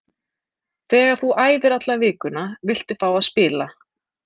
Þegar þú æfir alla vikuna viltu fá að spila.